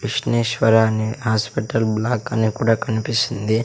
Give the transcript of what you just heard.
విష్ణేశ్వర అని hospital block అని కూడా కనిపిస్తుంది.